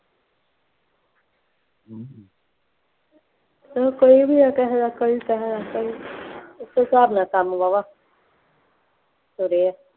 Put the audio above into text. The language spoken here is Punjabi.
ਚੱਲੋ ਕੋਈ ਵੀ ਹੈ ਕਿਸੇ ਦਾ ਕੋਈ ਕਿਸੇ ਦਾ, ਇਸ ਹਿਸਾਬ ਨਾਲ ਕੰਮ ਵਾਹਵਾ, ਤੁਰਿਆ